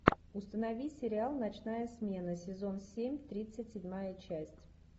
установи сериал ночная смена сезон семь тридцать седьмая часть